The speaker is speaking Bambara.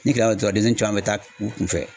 Ni gɛlɛya tɔgɔ bɛ taa u kunfɛ